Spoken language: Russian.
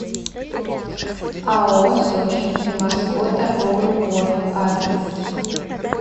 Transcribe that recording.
ао сочинский морской торговый порт адрес